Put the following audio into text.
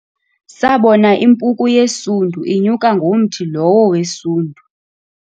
Sabona impuku yesundu inyuka ngomthi lowo wesundu.